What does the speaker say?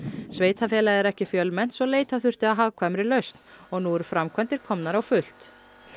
sveitarfélagið er ekki fjölmennt svo leita þurfti að hagkvæmri lausn og nú eru framkvæmdir komnar á fullt